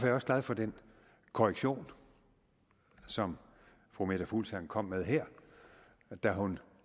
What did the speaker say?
jeg også glad for den korrektion som fru meta fuglsang kom med her da hun